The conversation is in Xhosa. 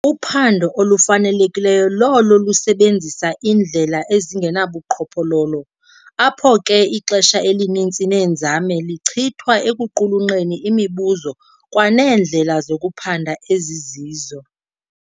Uphando olufanelekileyo lolo lusebenzisa indlela ezingenabuqhophololo, apho ke ixesha elininzi neenzame lichithwa ekuqhulunqeni imibuzo kwaneendlela zokuphanda ezizizo.